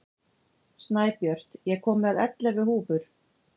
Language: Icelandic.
Snæbjört, ég kom með ellefu húfur!